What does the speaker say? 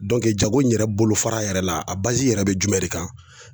jago in yɛrɛ bolofara yɛrɛ la a yɛrɛ be jumɛn de kan?